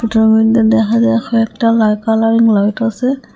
ছবিতে দেখা দেখো একটা লাল কালারিং লাইট আসে।